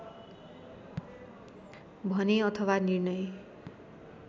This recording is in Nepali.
भने अथवा निर्णय